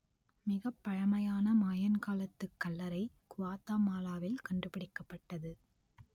மிகப் பழமையான மாயன் காலத்துக் கல்லறை குவாத்தமாலாவில் கண்டுபிடிக்கப்பட்டது